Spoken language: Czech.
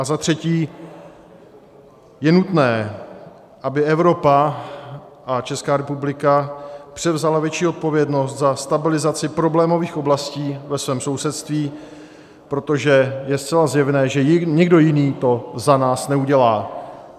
A za třetí, je nutné, aby Evropa a Česká republika převzaly větší odpovědnost za stabilizaci problémových oblastí ve svém sousedství, protože je zcela zjevné, že nikdo jiný to za nás neudělá.